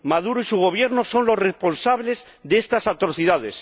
Maduro y su Gobierno son los responsables de estas atrocidades.